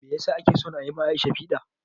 Meyasa ake son ayi ma Aisha piɗa?